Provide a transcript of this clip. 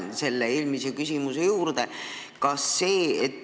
Ma tulen eelmise küsimuse juurde tagasi.